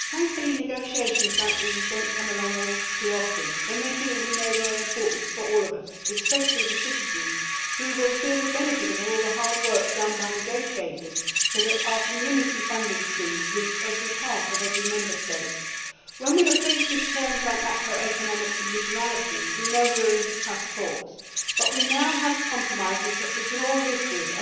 Mr President, thankfully negotiations like these do not come along too often. When they do, we know they are important to all of us, especially to citizens who will feel the benefit of the hard work done by negotiators so that our Community funding streams reach every part of every Member State. When we hear terms like macroeconomic conditionalities', we know we are in for tough talks, but we now have compromises that we can all live with.